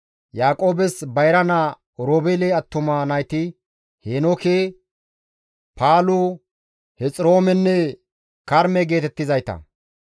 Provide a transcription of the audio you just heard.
Yaaqoobes bayra naa Oroobeele attuma nayti Heenooke, Paalu, Hexiroomenne Karme geetettizayta.